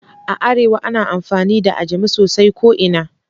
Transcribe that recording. A arewa ana amfani da Ajami sosai ko ina